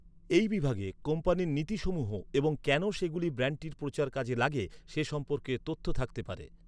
এই বিভাগে কোম্পানির নীতিসমূহ এবং কেন সেগুলি ব্র্যান্ডটির প্রচারে কাজে লাগে সে সম্পর্কে তথ্য থাকতে পারে।